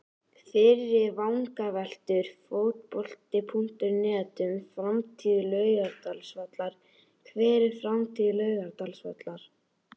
Fyrri vangaveltur Fótbolti.net um framtíð Laugardalsvallar: Hver er framtíð Laugardalsvallar?